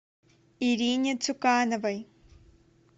ирине цукановой